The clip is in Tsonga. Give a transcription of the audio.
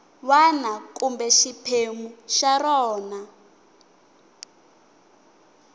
wana kumbe xiphemu xa rona